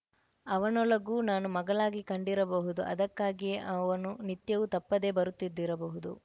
ಅವನೊಳಗೂ ನಾನು ಮಗಳಾಗಿ ಕಂಡಿರಬಹುದು ಅದಕ್ಕಾಗಿಯೇ ಅವನು ನಿತ್ಯವೂ ತಪ್ಪದೇ ಬರುತ್ತಿದ್ದಿರಬಹುದು